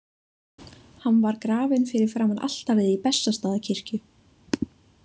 Hann var grafinn fyrir framan altarið í Bessastaðakirkju.